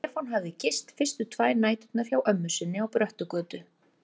Stefán hafði gist fyrstu tvær næturnar hjá ömmu sinni á Bröttugötu.